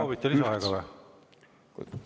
Soovite lisaaega või?